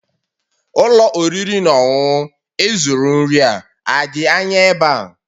Ụlọ oriri na ọṅụṅụ ị zụrụ nri a dị anya ebe a?